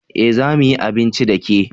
Eh za mu yi abinci da ke